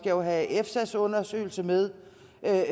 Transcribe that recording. jo have efsas undersøgelse med